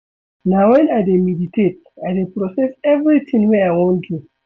Na wen I dey meditate I dey process everytin wey I wan do.